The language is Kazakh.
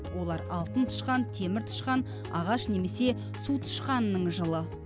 олар алтын тышқан темір тышқан ағаш немесе су тышқанының жылы